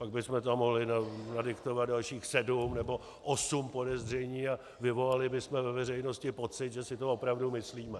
Pak bychom tam mohli nadiktovat dalších sedm nebo osm podezření a vyvolali bychom ve veřejnosti pocit, že si to opravdu myslíme.